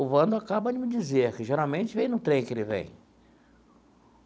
O Vando acaba de me dizer que, geralmente, vem no trem que ele vem.